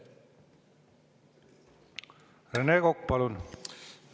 Rene Kokk, palun!